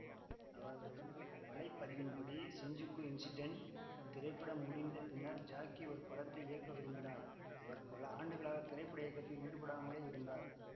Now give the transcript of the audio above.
அவரது வலைப்பதிவின்படி Shinjuku incident திரைப்படம் முடிந்த பின்னர் ஜாக்கி ஒரு படத்தை இயக்க விரும்பினார் அவர் பல ஆண்டுகளாக திரைப்பட இயக்கத்தில் ஈடுபடாமலே இருந்தார்